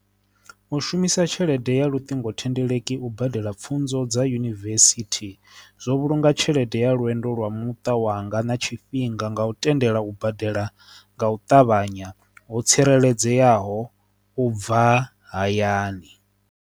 U shumisa tshelede ya luṱingothendeleki u badela pfhunzo dza yunivesithi zwo vhulunga tshelede ya lwendo lwa muṱa wanga na tshifhinga nga u tendela u badela nga u ṱavhanya ho tsireledzeaho u bva hayani.